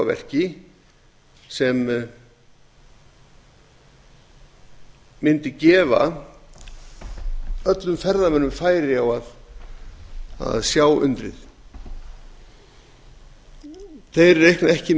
á verki sem mundi gefa öllum ferðamönnum færi á að sjá undrið þeir reikna ekki